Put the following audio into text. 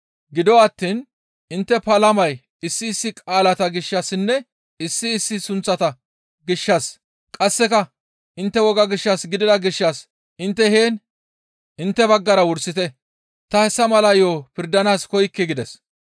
Gido attiin intte palamay issi issi qaalata gishshassinne issi issi sunththata gishshas qasseka intte woga gishshas gidida gishshas intte heen intte baggara wursite; ta hessa mala yo7o pirdanaas koykke» gides.